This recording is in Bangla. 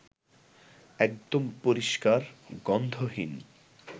একদম পরিষ্কার, গন্ধহীন